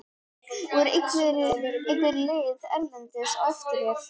Voru einhver lið erlendis á eftir þér?